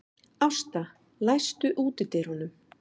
Ásta, læstu útidyrunum.